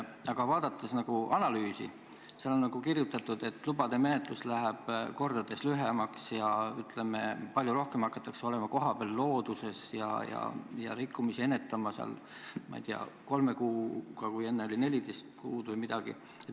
Aga ühes analüüsis on kirjutatud, et lubade menetlus läheb kordades lühemaks ja palju rohkem hakatakse olema kohapeal looduses ja rikkumisi ennetama, ma ei tea, kolme kuuga, kui enne oli 14 kuud või midagi.